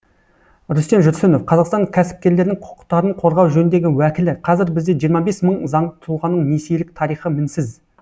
рүстем жүрсінов қазақстан кәсіпкерлерінің құқықтарын қорғау жөніндегі уәкілі қазір бізде жиырма бес мың заңды тұлғаның несиелік тарихы мінсіз